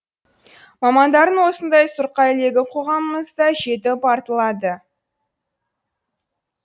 мамандардың осындай сұрқай легі қоғамымызда жетіп артылады